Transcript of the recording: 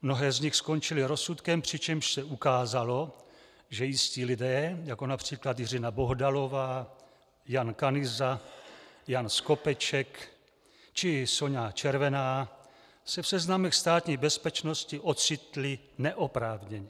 Mnohé z nich skončily rozsudkem, přičemž se ukázalo, že jistí lidé, jako například Jiřina Bohdalová, Jan Kanyza, Jan Skopeček či Soňa Červená se v seznamech Státní bezpečnosti ocitli neoprávněně.